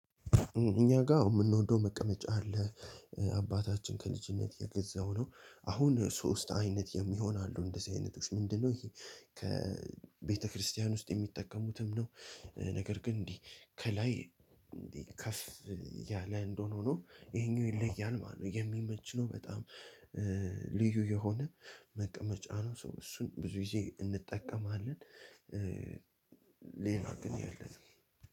እኛ ጋር የምንወደው መቀመጫ አለ፣ አባታችን ከልጅነት የገዛው ነው፣ አሁን ሶስት አይነት የሚሆን አሉ እንደዚህ አይነቶች ምንድነው ይሄ ከቤተክርስቲያን ውስጥ የሚጠቀሙትም ነው ነገር ግን እንዴ ከላይ ከፍፍ ያለ ሆኖ ይሄኛው ይለያል ማለት ነው። የሚመች ነው በጣም ልዩ የሆነ መቀመጫ ነው ሶ እሱን ብዙ ጊዜ እንጠቀማለን። ሌላ ግን